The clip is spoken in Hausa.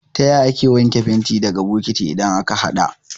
Taya ake wanke fenti daga bokati idan aka haɗa?